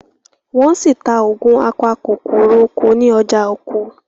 wón sí tá Ògùn apakòkòrò oko ní ọjà ọkọ̀.